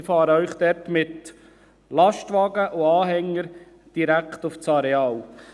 Ich fahre Sie dort mit Lastwagen und Anhänger direkt auf das Areal.